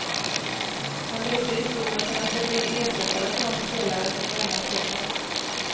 Han levde i tron att kunna köpa in ersättare för de spelare som lämnar klubben.